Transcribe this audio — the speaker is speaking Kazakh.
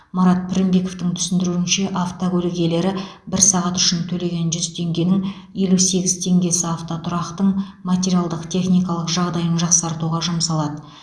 марат пірінбековтың түсіндіруінше автокөлік иелері бір сағат үшін төлеген жүз теңгенің елу сегіз теңгесі автотұрақтың материалдық техникалық жағдайын жақсартуға жұмсалады